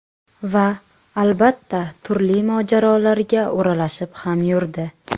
Va, albatta, turli mojarolarga o‘ralashib ham yurdi.